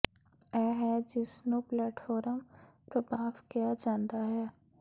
ਇਹ ਹੈ ਜਿਸ ਨੂੰ ਪਲੇਟਫੌਅ ਪ੍ਰਭਾਵ ਕਿਹਾ ਜਾਂਦਾ ਹੈ